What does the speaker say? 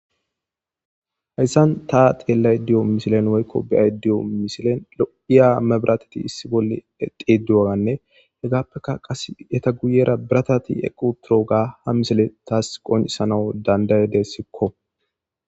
hayssan ta xeellay diyo misilen woykko beyay diyo misilen lo7iya mebratati issi bolle xeeduaganne hegappekka qas eta guyera biratati equ turooga ha misile taas qoncisanawu dandayadessikko